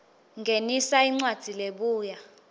ngenisa incwadzi lebuya